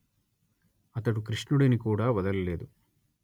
అతడు కృష్ణుడిని కూడా వదల లేదు